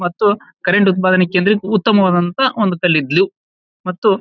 ಮತ್ತು ಕರೆಂಟ್ ಉತ್ಪಾದನಾ ಕೇಂದ್ರಕ್ಕೆ ಉತ್ತಮವಾದಂತ ಒಂದು ಕಲ್ಲಿದ್ದಲು ಮತ್ತು--